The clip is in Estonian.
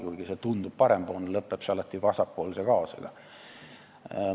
Kuigi see tundub parempoolse asjana, lõpeb see alati vasakpoolse kaosega.